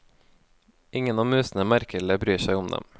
Ingen av musene merker eller bryr seg om dem.